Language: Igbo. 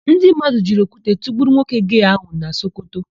Ndị mmadụ jiri okwute tụgbuo nwoke gee áhụ̀ na Sokoto.